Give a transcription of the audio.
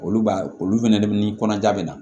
Olu b'a olu fɛnɛ de kɔnɔja bɛ na